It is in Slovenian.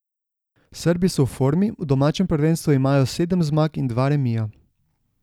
Srbi so v formi, v domačem prvenstvu imajo sedem zmag in dva remija.